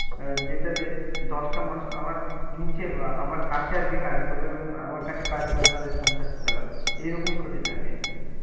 আহ যেটাতে দশটা মানুষ আমার নিচে বা আমার কাছে আর কি কাজ করবে এবং আমার কাছে কাজ করে তাদের সংসারটা চালাবে, এইরকম হতে চাই আমি আর কি।